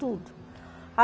Tudo.